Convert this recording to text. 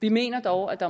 vi mener dog at der